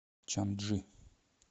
чанчжи